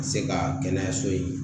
Ka se ka kɛnɛya so in